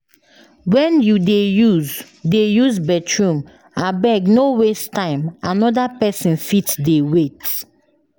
When you dey use dey use bathroom, abeg no waste time, another pesin fit dey wait.